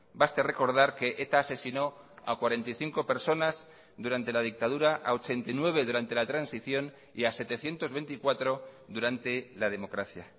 baste recordar que eta asesinó a cuarenta y cinco personas durante la dictadura a ochenta y nueve durante la transición y a setecientos veinticuatro durante la democracia